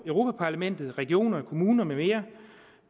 europa parlamentet regioner kommuner med mere